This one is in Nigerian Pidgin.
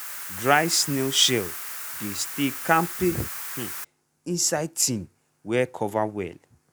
dry snail shell dey stay kampe um inside tin wey cover well.